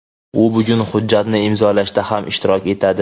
U bugun hujjatni imzolashda ham ishtirok etadi.